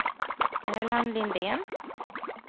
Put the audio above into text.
Erland Lindén